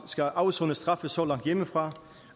skal afsone straf så langt hjemmefra